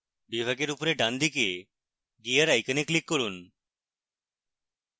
বিভাগের উপরে ডানদিকে gear icon click করুন